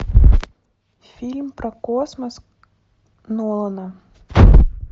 фильм про космос нолана